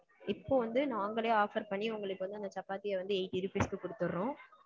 இப்போ வந்து நாங்களே offer பண்ணி உங்களுக்கு வந்து அந்த சப்பாத்திய வந்து eighty rupees க்கு குடுதுற்றோம்.